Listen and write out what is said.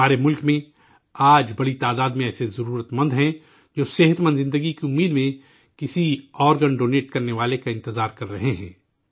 ہمارے ملک میں، آج بڑی تعداد میں ایسے ضرورت مند ہیں، جو صحت مند زندگی کی امید میں کسی آرگن ڈونیٹ کرنے والے کا انتظار کر رہے ہیں